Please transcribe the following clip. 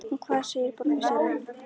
En hvað segir borgarstjóri?